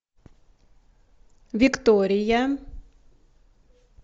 виктория